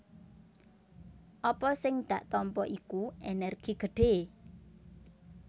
Apa sing dak tampa iku ènèrgi gedhé